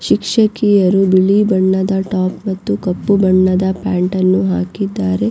ಈ ಚಿತ್ರದಲ್ಲಿ ಕೆಲವು ಹುಡುಗರು ನಿಂತಿರುವುದನ್ನು ನೋಡಬಹುದು ಹಾಗೂ--